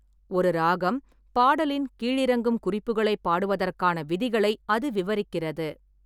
ஒரு ராகம் பாடலின் கீழிறங்கும் குறிப்புகளை பாடுவதற்கான விதிகளை அது விவரிக்கிறது.